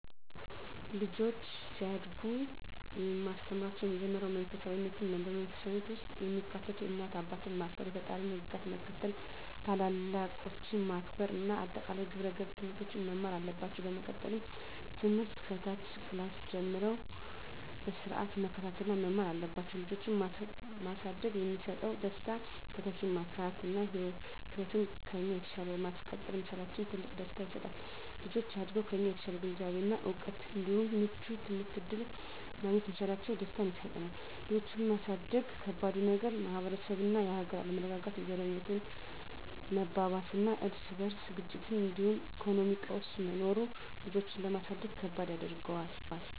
ልጆች ሲያድጉ የማስተምራቸው የመጀመሪያው መንፈሳፊነትን ነው። በመንፈሳዊነት ውስጥ የሚካተቱት እናት አባትን ማክበር፣ የፈጣሪን ህግጋት መከተል፣ ታላላቆችን ማክበር እና አጠቃላይ የግብረ ገብ ትምህርቶችን መማር አለባቸው። በመቀጠልም ትምህርት ከታች ክላስ ጀምረው በስርአት መከታተል እና መማር አለባቸው። ልጆችን ማሳደግ የሚሰጠው ደስታ:- - ተተኪን ማፍራት እና ህይወትን ከኛ በተሻለ ማስቀጠል መቻላችን ትልቅ ደስታ ይሰጣል። - ልጆች አድገው ከኛ የተሻለ ግንዛቤ እና እውቀት እንዲሁም ምቹ የትምህርት እድል ማግኘት መቻላቸው ደስታን ይሰጠናል። ልጆችን ማሳደግ ከባዱ ነገር:- - የማህበረሰብ እና የሀገር አለመረጋጋት፣ የዘረኝነት መባባስና የርስ በርስ ግጭቶች እንዲሁም የኢኮኖሚ ቀውስ መኖሩ ልጆችን ለማሳደግ ከባድ ያደርገዋል።